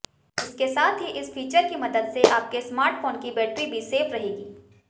इसके साथ ही इस फीचर की मदद से आपके स्मार्टफोन की बैटरी भी सेफ रहेगी